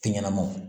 Tɛ ɲɛnamaw